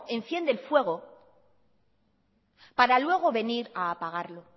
enciende el fuego para luego venir a apagarlo